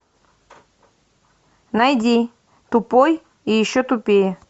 найди тупой и еще тупее